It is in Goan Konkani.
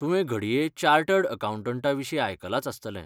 तुवें घडये चार्टर्ड आकावंटंटा विशीं आयकलांच आसतलें ?